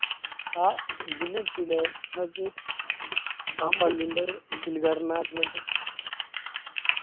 ആഹ് ഇതില് കിട്ടില്ലേ നിങ്ങക്ക് ആ പള്ളിൻ്റെ ഉത്ഘടനാ പറയുന്ന കേട്ടെ